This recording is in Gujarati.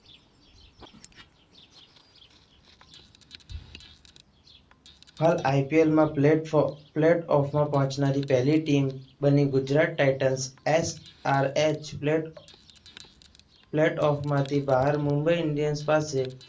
હાલ IPL માં પ્લેટઓફમાં પહેલી ટીમ બની ગુજરાત ટાઇટન્સ SRH પ્લેટ પ્લેટઓફમાંથી બહાર. મુંબઈ ઇન્ડિયન્સ પાસે